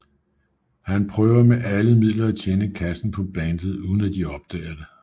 Han prøver med alle midler at tjene kassen på bandet uden at de opdager det